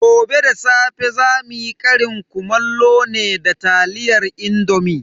Gobe da safe zamu yi ƙarin kumallo ne da taliyar indomi.